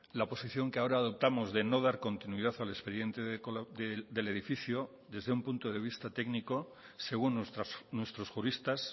la posición que ahora adoptamos de no dar continuidad al expediente del edificio desde un punto de vista técnico según nuestros juristas